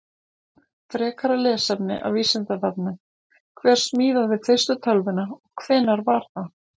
Frekara lesefni af Vísindavefnum: Hver smíðaði fyrstu tölvuna og hvenær var það?